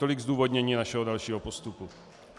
Tolik zdůvodnění našeho dalšího postupu.